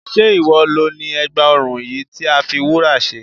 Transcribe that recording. Sé ìwọ lo ni ègbà ọrùn yìí tí a fi wúrà ṣe?